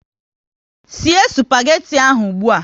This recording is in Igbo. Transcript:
Sie spageti ahụ ụgbụa!